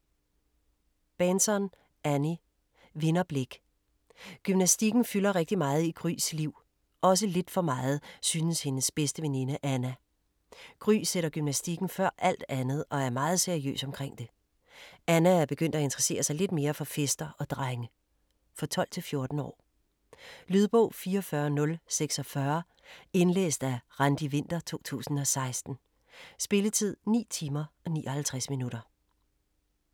Bahnson, Annie: Vinderblik Gymnastikken fylder rigtig meget i Grys liv, også lidt for meget, synes hendes bedste veninde Anna. Gry sætter gymnastikken før alt andet og er meget seriøs omkring det. Anna er begyndt at interessere sig lidt mere for fester og drenge. For 12-14 år. Lydbog 44046 Indlæst af Randi Winther, 2016. Spilletid: 9 timer, 59 minutter.